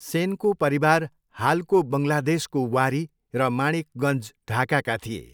सेनको परिवार हालको बङ्गलादेशको वारी र माणिकगञ्ज, ढाकाका थिए।